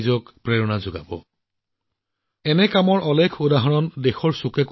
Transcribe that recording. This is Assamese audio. গতিকে গুজৰাট চৰকাৰক অনুৰোধ জনাইছো যে এখন প্ৰতিযোগিতা আৰম্ভ কৰি এনে লোকক নিমন্ত্ৰণ জনাওক